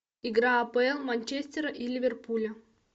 игра апл манчестера и ливерпуля